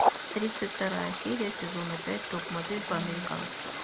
тридцать вторая серия сезона пять топ модель по американски